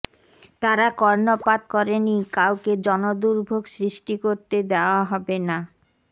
তারা কর্ণপাত করেনি কাউকে জনদুর্ভোগ সৃষ্টি করতে দেওয়া হবে না